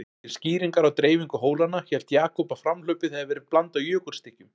Til skýringar á dreifingu hólanna, hélt Jakob að framhlaupið hefði verið blandað jökulstykkjum.